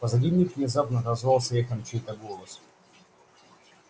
позади них внезапно отозвался эхом чей-то голос